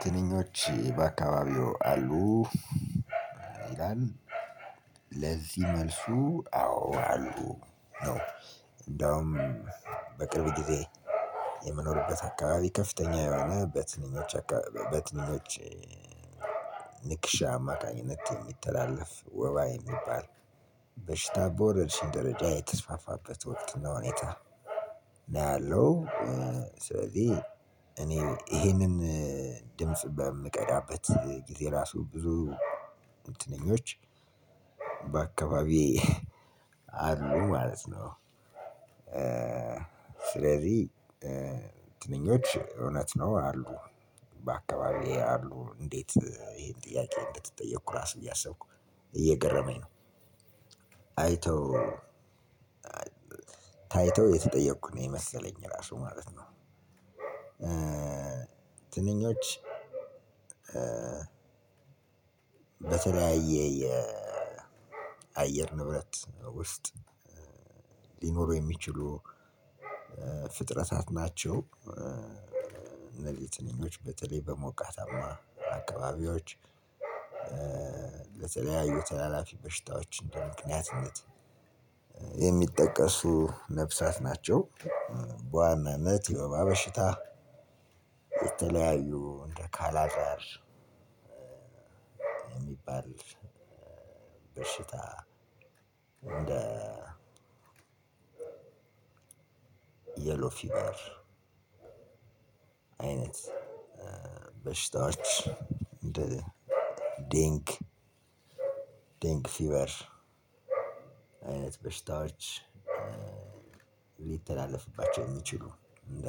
ትንኞች በአካባቢው አሉ። ይላል ለዚህ መልሱ አዎ አሉ። እንደውም በቅርብ ጊዜ የምኖርበት አካባቢ ከፍተኛ የሆነ በትንኞች አካባቢ በትንኞች ንክሻ አማካኝነት የሚተላለፍ ወባ የሚባል በሽታ በወረርሽኝ ደረጃ የተስፋፋበት ወቅት ነው። እኔ እላለሁ ስለዚህ እኔ ይሄንን ድምጽ በምቀዳበት ጊዜ ራሱ ብዙ ትንኞች በአካባቢ አሉ ማለት ነው። ስለዚህ ትንኞች እውነት ነው አሉ በአካባቢዬ አሉ እንዴት ይሄን ጥያቄ እንደተጠየቀ ራሱ እያሰብኩ እየገረመኝ ነው። ታይተው የተጠየኩ ነው የመሰለኝ ራሱ ማለት ነው። ትንኞች በተለያየ የአየር ንብረት ውስጥ ሊኖሩ የሚችሉ ፍጥረታት ናቸው። እነዚህ ትንኞች በተለይ በሞቃታማ አካባቢዎች የተለያዩ ተላላፊ በሽታዎች በምክንያትነት የሚጠቀሱ ነፍሳት ናቸው። ለተለያዩ ተላላፊ በሽታዎች እንደው ምክንያትነት የሚጠቀሱ ነፍሳት ናቸው። የሎፊበር አይነት በሽታዎች እንደ ዴንክ ዴንክ ፊበር አይነት በሽታዎች ሊተላለፍባቸው የሚችሉ እንደ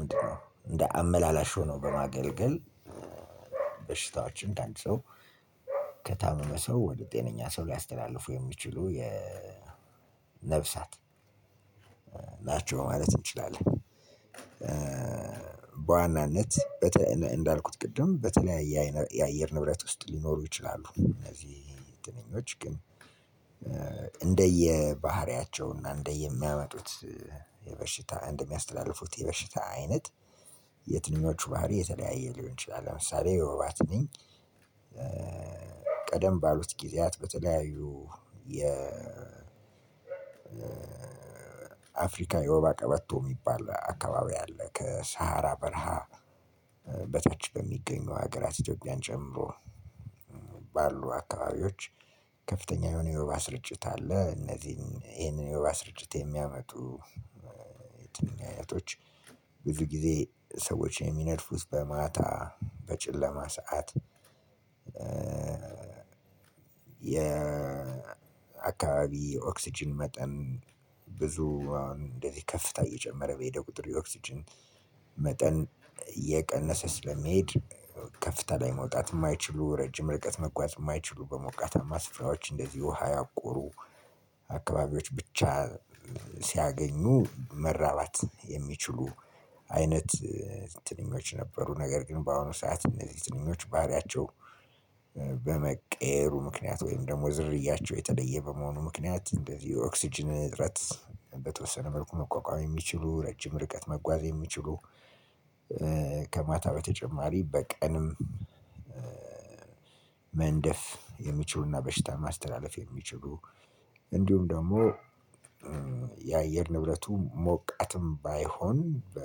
ምንድነው እንደ አመላላሽ ሆኖ በማገልገል በሽታዎችን ከአንድ ሰው ከታመመ ሰው ወደ ጤነኛ ሰው ሊያስተላልፉ የሚችሉ የ ነፍሳት ናቸው ማለት እንችላለን። በዋናነት እንዳልኩት ቅድም በተለያየ የአየር ንብረት ውስጥ ሊኖሩ ይችላሉ እነዚህ ትንኞች ግን እንደየባህሪያቸውና እንደየሚያመጡት የበሽታ እንደሚያስተላልፉት የበሽታ አይነት የትንኞቹ ባህሪ የተለያየ ሊሆን ይችላል። ለምሳሌ የወባ ትንኝ በሉት ጊዜያት በተለየዩ አፍሪካ የዋባ ቀበቶ ሚባል አካባቢ አለ ከሰሃራ በረሃ በታች በሚገኙ ሀገራት ኢትዮጵያን ጨምሮ ባሉ አካባቢዎች ከፍተኛ የሆነ የዋባ ስርጭት አለ። እነዚህን ይሄንን የዋባ ስርጭት የሚያመጡ የትንኝ አይነቶች ብዙ ጊዜ ሰዎችን የሚነድፉት በማታ በጨለማ ሰዓት። የአካባቢ ኦክስጅን መጠን ብዙ እንደዚህ ከፍታ እየጨመረ በሄደ ቁጥር የኦክስጅን መጠን እየቀነሰ ስለሚሄድ ከፍታ ላይ መውጣት የማይችሉ ረጅም ርቀት መጓዝ የማይችሉ በሞቀታማ ስፍራዎች እንደዚህ ውሃ ያቆሩ አካባቢዎች ብቻ ሲያገኙ መራባት የሚችሉ አይነት ትንኞች ነበሩ። ነገር ግን በአሁኑ ሰዓት እነዚህ ትንኞች ባህሪያቸው በመቀየሩ ምክንያት ወይም ደግሞ ዝርያቸው የተለየ በመሆኑ ምክንያት እንደዚህ የኦክስጅን እጥረት በተወሰነ መልኩ መቋቋም የሚችሉ ረጅም ርቀት መጓዝ የሚችሉ። ከማታ በተጨማሪ በቀንም መንደፍ የሚችሉና በሽታ ማስተላለፍ የሚችሉ እንዲሁም ደግሞ የአየር ንብረቱ ሞቃትም ባይሆን በ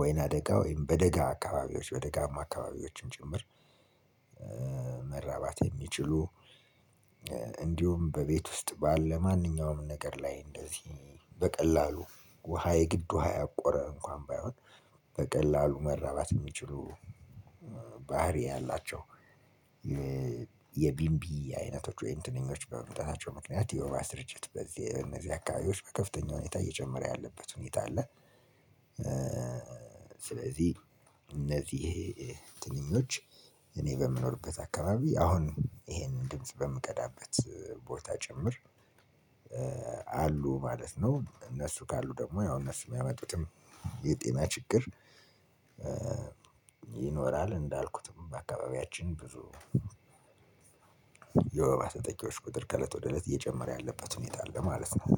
ወይና ደጋ ወይም በደጋ አካባቢዎች በደጋማ አካባቢዎችን ጭምር መረባት የሚችሉ። እንዲሁም በቤት ውስጥ በለ መኒኛውም ነገር ለይ አንደዚ በቀላሉ ውሃ የግድ ውሃ የቆረ እንኳን ባይሆንበቀለሉ መረበት የሚችሉ ባህሪ ያላቸው። የቢንቢ አይነቶች ወይም ትንኞች በመምጣታቸው ምክንያት የውሃ ስርጭት በዚህ እነዚህ አካባቢዎች በከፍተኛ ሁኔታ እየጨመረ ያለበት ሁኔታ አለ። ስለዚህ እነዚህ ትንኞች እኔ በምኖርበት አካባቢ አሁን ይሄንን ድምጽ በምቀዳበት ቦታ ጭምር አሉ ማለት ነው። እነሱ ካሉ ደግሞ ያው እነሱ የሚያመጡትም የጤና ችግር ይኖራል። እንዳልኩትም አካባቢያችን ብዙ የዋባ ተጠቂዎች ቁጥር ከለት ወደ ለት እየጨመረ ያለበት ሁኔታ አለ ማለት ነው።